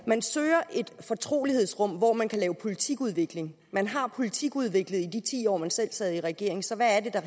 man søger et fortrolighedsrum hvor man kan lave politikudvikling man har politikudviklet i de ti år man selv sad i regering så